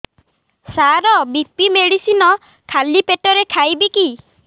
ସାର BP medicine ଖାଲି ପେଟରେ ଖାଇବି କି